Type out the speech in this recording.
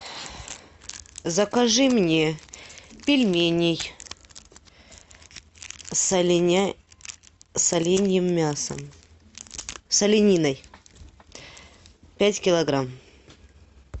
закажи мне пельменей с оленьим мясом с олениной пять килограмм